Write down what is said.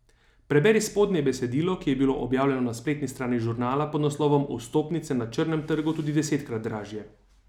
Preberi spodnje besedilo, ki je bilo objavljeno na spletni strani Žurnala pod naslovom Vstopnice na črnem trgu tudi desetkrat dražje.